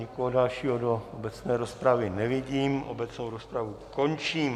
Nikoho dalšího do obecné rozpravy nevidím, obecnou rozpravu končím.